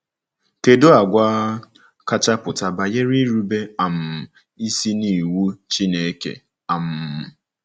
Kedụ àgwà kacha pụta banyere irube um isi n’iwu Chineke? um